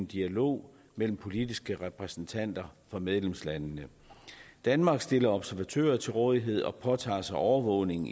dialog mellem politiske repræsentanter for medlemslandene danmark stiller observatører til rådighed og påtager sig overvågningen